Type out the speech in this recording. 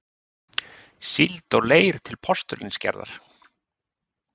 síld og leir til postulínsgerðar.